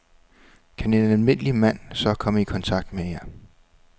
Kan en almindelig mand så komme i kontakt med jer?